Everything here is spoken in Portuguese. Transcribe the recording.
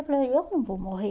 Eu falei, eu não vou morrer.